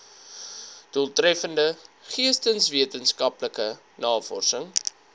doeltreffende geesteswetenskaplike navorsing